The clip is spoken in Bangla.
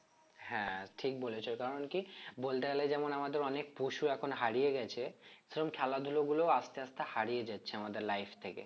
হ্যাঁ ঠিক বলেছো কারণ কি বলতে গেলেই যেমন আমাদের অনেক পশু এখন হারিয়ে গেছে সেরকম খেলা ধুলো গুলোয় আস্তে আস্তে হারিয়ে যাচ্ছে আমাদের life থেকে